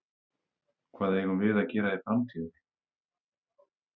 Hvað eigum við að gera í framtíðinni?